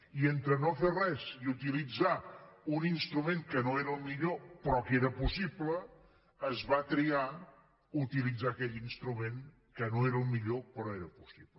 i entre no fer res i utilitzar un instrument que no era el millor però que era possible es va triar utilitzar aquell instrument que no era el millor però era possible